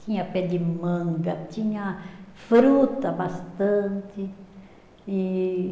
Tinha pé de manga, tinha fruta bastante, e